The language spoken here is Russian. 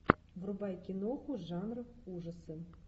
врубай киноху жанр ужасы